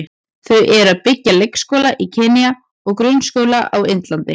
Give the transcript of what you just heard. Þau eru að byggja leikskóla í Kenýa og grunnskóla á Indlandi.